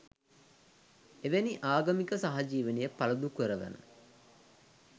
එවැනි ආගමික සහජීවනය පළුදු කරවන